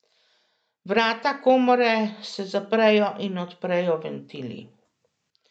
Vrata komore se zaprejo in odprejo ventili.